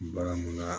Bagan munna